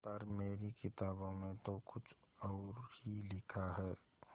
पर मेरी किताबों में तो कुछ और ही लिखा है